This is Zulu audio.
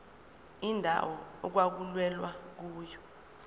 indawo okwakulwelwa kuyona